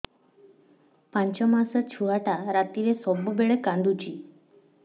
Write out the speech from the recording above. ପାଞ୍ଚ ମାସ ଛୁଆଟା ରାତିରେ ସବୁବେଳେ କାନ୍ଦୁଚି